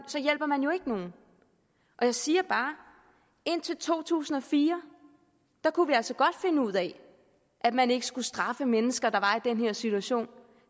så hjælper man jo ikke nogen og jeg siger bare at indtil to tusind og fire kunne vi altså godt finde ud af at man ikke skulle straffe mennesker der var i den her situation